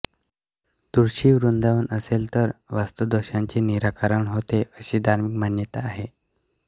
तुळशी वृंदावन असेल तर वास्तुदोषांचे निराकरण होते अशी धार्मिक मान्यता आहे